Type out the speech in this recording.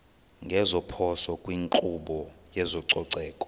ngeziphoso kwinkqubo yezococeko